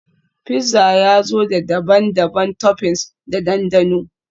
Fizza ya zo da daban-daban toppings da dandano